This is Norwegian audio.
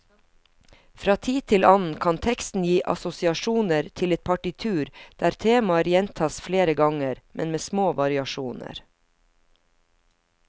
Fra tid til annen kan teksten gi assosiasjoner til et partitur der temaer gjentas flere ganger, men med små variasjoner.